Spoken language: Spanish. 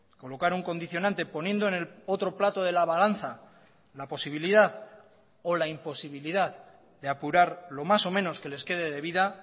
colocar un condicionante poniendo en el otro plato de la balanza la posibilidad o la imposibilidad de apurar lo más o menos que les quede de vida